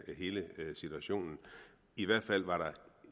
hele situationen i hvert fald var der